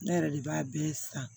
Ne yɛrɛ de b'a bɛɛ san